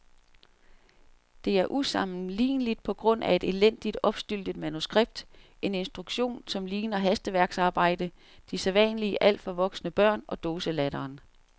Det er usammenligneligt på grund af et elendigt, opstyltet manuskript, en instruktion, som ligner hastværksarbejde, de sædvanlige alt for voksne børn og dåselatteren.